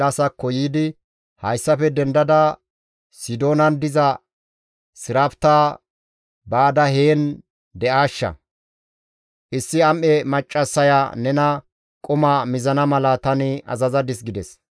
«Hayssafe dendada Sidoonan diza Sirafta baada heen de7aashsha. Issi am7e maccassaya nena quma mizana mala tani azazadis» gides.